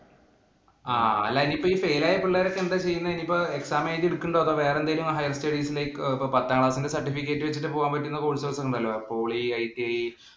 ആഹ് അല്ലാ ഈ fail ആയ പിള്ളേരൊക്കെ എന്താ ചെയ്യുന്നേ? ഇനിയിപ്പോ exam എഴുതിയെടുക്കുന്നുണ്ടോ? അതോ വേറെന്തേലും higher studies ഇലേക്ക് പത്താം class ഇന്‍റെ certificate വച്ച് പോകാന്‍ പറ്റുന്ന courses ഉണ്ടല്ലോ? PolyITI